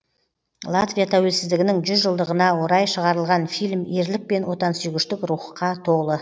латвия тәуелсіздігінің жүз жылдығына орай шығарылған фильм ерлік пен отансүйгіштік рухқа толы